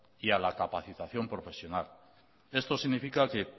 y a la capacitación profesional esto significa que